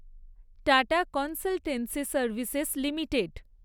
tata consultancy services limited